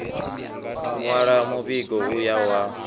nwala muvhigo u yaho ha